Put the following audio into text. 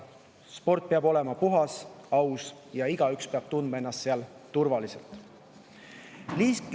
Sport peab olema puhas ja aus ning igaüks peab tundma ennast turvaliselt.